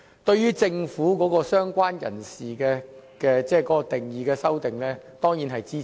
對於政府有關"相關人士"的修正案，他當然是支持的。